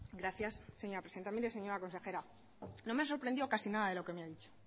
gracias señora presidenta mire señora consejera no me ha sorprendido casi nada de lo que me ha dicho